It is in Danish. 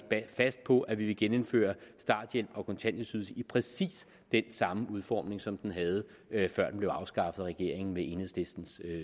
fast på at vi vil genindføre starthjælp og kontanthjælpsydelse i præcis den samme udformning som de havde før de blev afskaffet af regeringen med enhedslistens